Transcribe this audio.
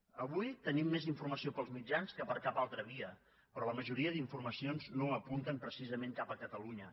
avui tenim més informació pels mitjans que per cap altra via però la majoria d’informacions no apunten precisament cap a catalunya